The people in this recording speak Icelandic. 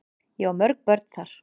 Ég á mörg börn þar.